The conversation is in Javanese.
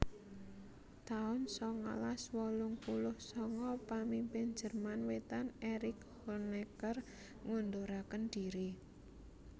taun sangalas wolung puluh sanga Pamimpin Jerman Wétan Erick Honecker ngunduraken dhiri